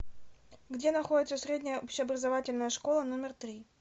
где находится средняя общеобразовательная школа номер три